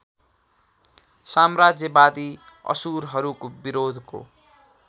साम्राज्यवादी असुरहरूको विरोधको